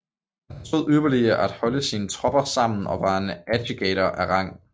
Han forstod ypperlig at holde sine Tropper sammen og var en Agitator af Rang